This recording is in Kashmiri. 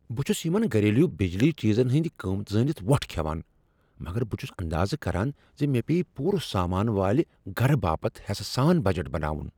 بہٕ چھُس یمن گھریلو بجلی چیزن ہٕنٛدۍ قیمت زٲنِتھ وۄٹھ کھیوان مگر بہٕ چھُس اندازٕ كران ز مےٚ پییہِ پوٗرٕ سامان والہِ گرٕ باپت حٮ۪سہٕ سان بجٹ بناوُن ۔